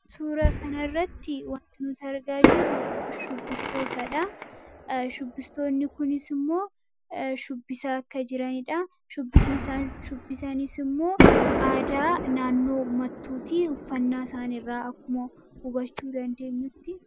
suura kanarratti wanti nuti argaa jirru shubbistootaadha shubbistoonni kunis immoo shubbisaa akka jiraniidha .shubbisni isaan shubbisa jiranis immoo aadaa naannoo mattuutii uffannaa isaan irraa akkuma hubachuu dandeenyutti.